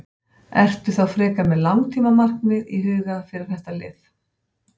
Ertu þá frekar með langtíma markmið í huga fyrir þetta lið?